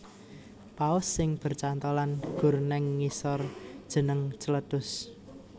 Paus sing bercantholan gor neng ngisor jeneng Cletus